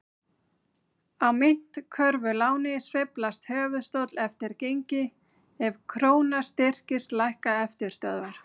Á myntkörfuláni sveiflast höfuðstóll eftir gengi, ef króna styrkist lækka eftirstöðvar.